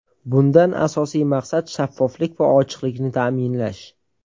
Bundan asosiy maqsad shaffoflik va ochiqlikni ta’minlash.